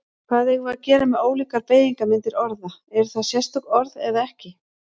Hvað eigum við að gera með ólíkar beygingarmyndir orða, eru það sérstök orð eða ekki?